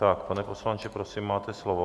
Tak, pane poslanče, prosím, máte slovo.